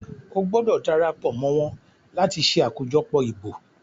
O gbọdọ darapo mọ wón là tí ṣe ṣe akojọpọ ìbò!